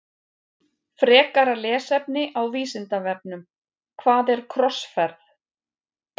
Frekara lesefni á Vísindavefnum Hvað er krossferð?